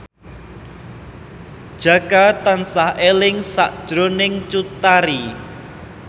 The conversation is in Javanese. Jaka tansah eling sakjroning Cut Tari